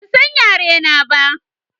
Ban san yare na ba